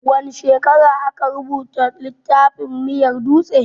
Wane shekara aka rubuta littafin miyar dutse?